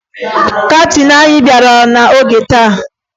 Kaptịn anyị bịara n'oge taa